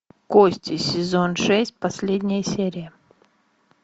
кости сезон шесть последняя серия